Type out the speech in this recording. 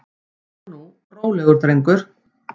Svona nú, rólegur drengur.